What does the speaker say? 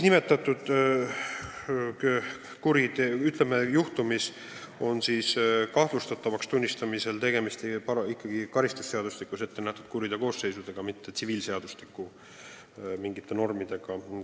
Nimetatud juhtumi puhul on kahtlustatavaks tunnistamisel tegemist ikkagi karistusseadustikus kirjas olevate kuriteokoosseisudega, mitte mingite tsiviilseadustiku normidega.